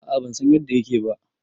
A a ban san yadda yake ba